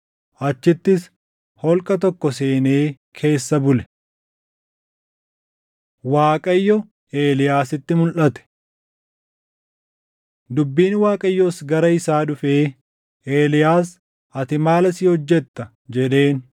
Achittis holqa tokko seenee keessa bule. Waaqayyo Eeliyaasitti Mulʼate Dubbiin Waaqayyoos gara isaa dhufee, “Eeliyaas, ati maal asii hojjetta?” jedheen.